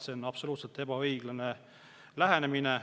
See on absoluutselt ebaõiglane lähenemine.